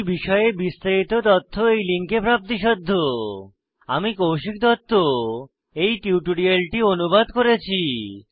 এই বিষয়ে বিস্তারিত তথ্য এই লিঙ্কে প্রাপ্তিসাধ্য httpspoken tutorialorgNMEICT Intro আমি কৌশিক দত্ত এই টিউটোরিয়ালটি অনুবাদ করেছি